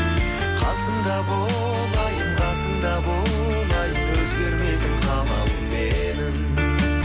қасымда бол айым қасымда бол айым өзгермейтін қалауым менің